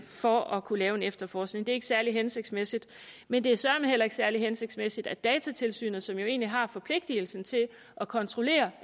for at kunne lave en efterforskning det er ikke særlig hensigtsmæssigt men det er søreme heller ikke særlig hensigtsmæssigt at datatilsynet som jo egentlig har forpligtelsen til at kontrollere